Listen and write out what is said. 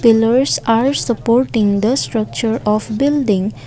pillars are supporting the structure of building.